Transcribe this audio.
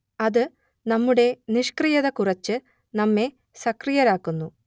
അത് നമ്മുടെ നിഷ്ക്രിയത കുറച്ച് നമ്മെ സക്രിയരാക്കുന്നു